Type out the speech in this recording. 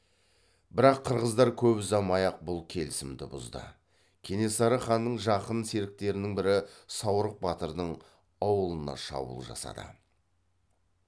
бірақ қырғыздар көп ұзамай ақ бұл келісімді бұзды кенесары ханның жақын серіктерінің бірі саурық батырдың ауылына шабуыл жасады